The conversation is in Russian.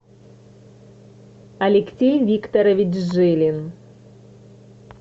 алексей викторович жилин